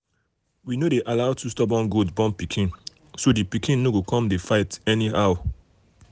we no dey allow two stubborn goats born pikin so the pikin no go come dey fight anyhow.